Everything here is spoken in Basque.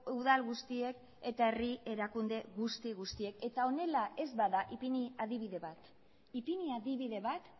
udal guztiek eta herri erakunde guzti guztiek eta honela ez bada ipini adibide bat ipini adibide bat